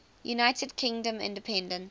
united kingdom independence